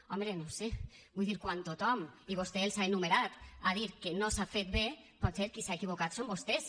home no ho sé vull dir quan tothom i vostè els ha enumerat ha dit que no s’ha fet bé potser qui s’ha equivocat són vostès